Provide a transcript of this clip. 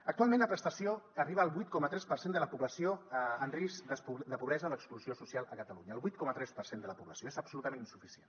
actualment la prestació arriba al vuit coma tres per cent de la població en risc de pobresa d’exclusió social a catalunya el vuit coma tres per cent de la població és absolutament insuficient